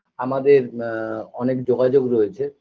আমাদের আ অনেক যোগাযোগ রয়েছে